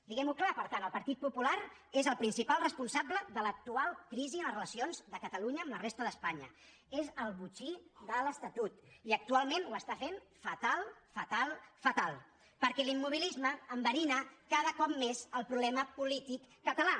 diguem ho clar per tant el partit popular és el principal responsable de l’actual crisi en les relacions de catalunya amb la resta d’espanya és el botxí de l’estatut i actualment ho fa fatal fatal perquè l’immobilisme enverina cada cop més el problema polític català